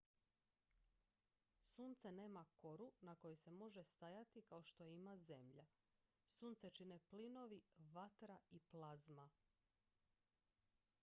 sunce nema koru na kojoj se može stajati kao što je ima zemlja sunce čine plinovi vatra i plazma